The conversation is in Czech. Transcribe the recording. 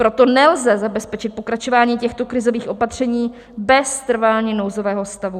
Proto nelze zabezpečit pokračování těchto krizových opatření bez trvání nouzového stavu.